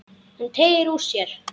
Hann teygir úr sér.